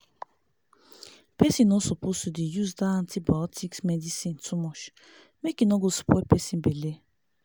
pesin no suppose to dey use dah antibiotics medicine too much mk e nor go spoil pesin belle